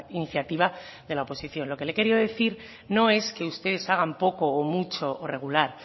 iniciativa de la oposición lo que le he querido decir no es que ustedes hagan poco o mucho o regular